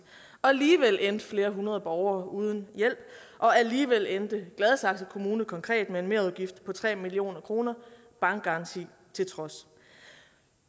og alligevel endte flere hundrede borgere uden hjælp og alligevel endte gladsaxe kommune konkret med en merudgift på tre million kr bankgaranti til trods